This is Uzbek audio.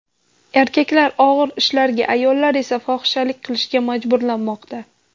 Erkaklar og‘ir ishlarga, ayollar esa fohishalik qilishga majburlanmoqda.